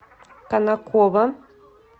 конаково